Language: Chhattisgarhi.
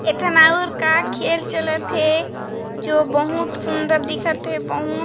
एक ठन अउर का खेल चलत हे जो बहुत सुन्दर दिखत हे बहुत--